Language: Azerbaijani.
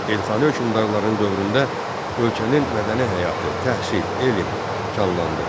Elxani hökmdarların dövründə ölkənin mədəni həyatı, təhsil, elm canlandı.